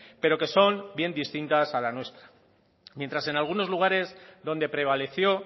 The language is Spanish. pero que son bien distintas a la nuestra mientras en algunos lugares donde prevaleció